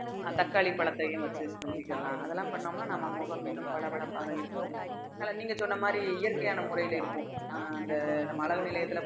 தக்காளி பழத்தையும் வந்து செஞ்சுக்கலாம் அதெல்லாம் பண்ணோம்னா நம்ம முகம் இன்னும் பளபளப்பாக இருக்கும் அதுல நீங்க சொன்ன மாதிரி இயற்கையான முறையில இருக்கும் அந்த நம்ம அழகு நிலையத்துல